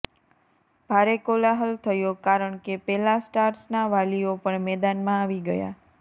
ભારે કોલાહલ થયો કારણ કે પેલા સ્ટાર્સના વાલીઓ પણ મેદાનમાં આવી ગયા